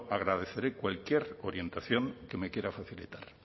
agradeceré cualquier orientación que me quiera facilitar